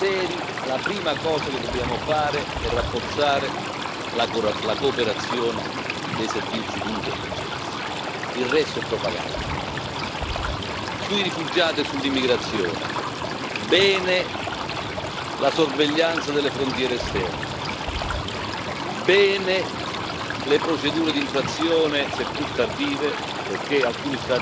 la prima cosa che dobbiamo fare è rafforzare la cooperazione dei servizi di intelligence, il resto è propaganda. Sui rifugiati e sull'immigrazione, bene la sorveglianza delle frontiere esterne e bene le procedure d'infrazione, seppur tardive, perché alcuni Stati membri